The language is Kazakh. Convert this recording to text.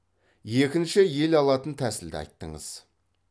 екінші ел алатын тәсілді айттыңыз